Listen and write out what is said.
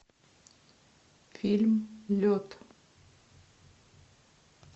фильм лед